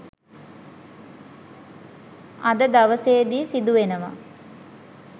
අද දවසේදි සිදු වෙනවා.